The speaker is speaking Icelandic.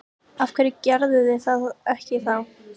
Af hverju gerðuð þið það ekki þá?